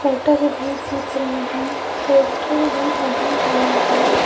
Butter भी दिख रहे हैं पोस्टर भी लगा हुआ है।